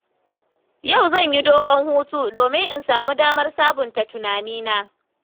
Yau zan yi dogon hutu domin in samu damar sabunta tunanina.